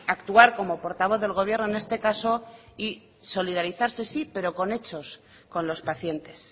actuar como portavoz del gobierno en este caso y solidarizarse sí pero con hechos con los pacientes